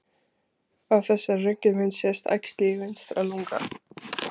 Á þessari röntgenmynd sést æxli í vinstra lunga.